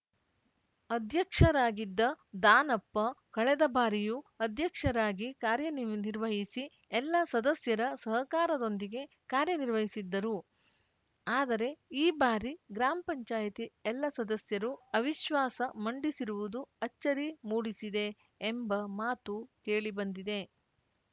ಅಧ್ಯಕ್ಷರಾಗಿದ್ದ ದಾನಪ್ಪ ಕಳೆದ ಬಾರಿಯೂ ಅಧ್ಯಕ್ಷರಾಗಿ ಕಾರ್ಯನಿರ್ವಹಿಸಿ ಎಲ್ಲಾ ಸದಸ್ಯರ ಸಹಕಾರದೊಂದಿಗೆ ಕಾರ್ಯನಿರ್ವಹಿಸಿದ್ದರು ಆದರೆ ಈ ಬಾರಿ ಗ್ರಾಮ್ ಪಂಚಾಯತಿ ಎಲ್ಲಾ ಸದಸ್ಯರು ಅವಿಶ್ವಾಸ ಮಂಡಿಸಿರುವುದು ಅಚ್ಚರಿ ಮೂಡಿಸಿದೆ ಎಂಬ ಮಾತು ಕೇಳಿ ಬಂದಿದೆ